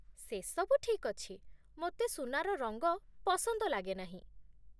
ସେସବୁ ଠିକ୍ ଅଛି, ମୋତେ ସୁନାର ରଙ୍ଗ ପସନ୍ଦ ଲାଗେ ନାହିଁ ।